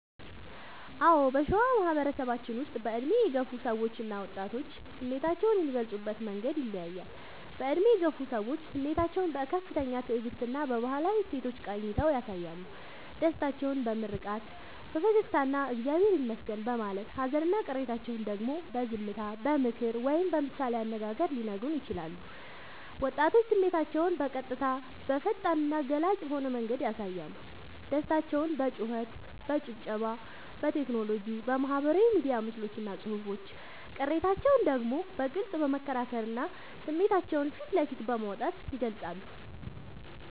አዎ: በሸዋ ማህበረሰባችን ውስጥ በዕድሜ የገፉ ሰዎችና ወጣቶች ስሜታቸውን የሚገልጹበት መንገድ ይለያያል፦ በዕድሜ የገፉ ሰዎች፦ ስሜታቸውን በከፍተኛ ትዕግስትና በባህላዊ እሴቶች ቃኝተው ያሳያሉ። ደስታቸውን በምርቃት፣ በፈገግታና «እግዚአብሔር ይመስገን» በማለት: ሃዘንና ቅሬታቸውን ደግሞ በዝምታ: በምክር ወይም በምሳሌ አነጋገር ሊነግሩን ይችላሉ። ወጣቶች፦ ስሜታቸውን በቀጥታ: በፈጣንና ገላጭ በሆነ መንገድ ያሳያሉ። ደስታቸውን በጩኸት: በጭብጨባ: በቴክኖሎጂ (በማህበራዊ ሚዲያ ምስሎችና ጽሑፎች): ቅሬታቸውን ደግሞ በግልጽ በመከራከርና ስሜታቸውን ፊት ለፊት በማውጣት ይገልጻሉ።